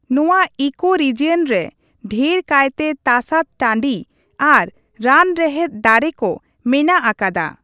ᱱᱚᱣᱟ ᱤᱠᱳᱨᱤᱡᱤᱭᱚᱱᱼᱨᱮ ᱰᱷᱮᱨ ᱠᱟᱭᱛᱮ ᱛᱟᱥᱟᱫ ᱴᱟᱺᱰᱤ ᱟᱨ ᱨᱟᱱ ᱨᱮᱦᱮᱫ ᱫᱟᱹᱨᱮ ᱠᱚ ᱢᱮᱱᱟᱜ ᱟᱠᱟᱫᱟ ᱾